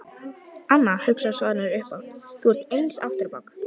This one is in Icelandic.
Anna, hugsaði Svanur upphátt, þú ert eins aftur á bak.